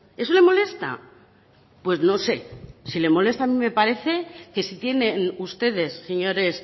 eso le molesta pues no sé si le molesta a mí me parece que si tienen ustedes señores